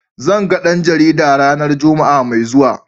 Zan ga dan jarida ranar Juma'a mai zuwa.